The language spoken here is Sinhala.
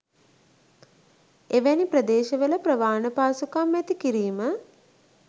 එවැනි ප්‍රදේශවල ප්‍රවාහන පහසුකම් ඇති කිරීම